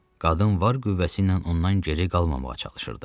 Qadın var qüvvəsi ilə ondan geri qalmamağa çalışırdı.